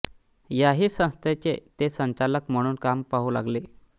याही संस्थेचे ते संचालक म्हणून काम पाहू लागले